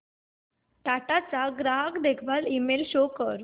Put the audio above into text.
टाटा चा ग्राहक देखभाल ईमेल शो कर